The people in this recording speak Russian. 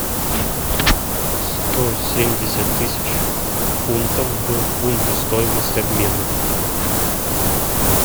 сто семьдесят тысяч фунтов в фунты стоимость обмена